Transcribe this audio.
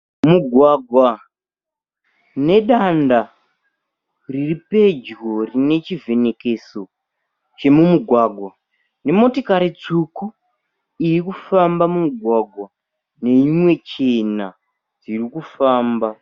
Mugwagwa nedanda riri pedyo rine chivhenekeso chomumugwagwa nemotikari tsvuku iri kufamba mumugwagwa neimwe chena dziri kufamba.